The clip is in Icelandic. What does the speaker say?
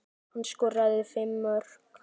Hann skoraði fimm mörk.